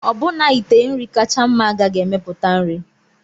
Ọbụna ite nri kacha mma agaghị emepụta nri.